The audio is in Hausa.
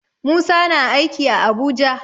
Musa na aiki a Abuja.